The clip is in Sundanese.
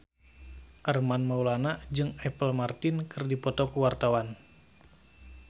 Armand Maulana jeung Apple Martin keur dipoto ku wartawan